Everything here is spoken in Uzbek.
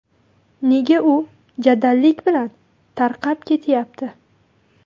Nega u jadallik bilan tarqab ketyapti?